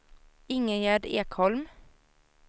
Ingegärd Ekholm